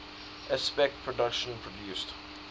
aspect productions produced